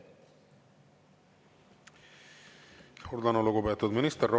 Suur tänu, lugupeetud minister!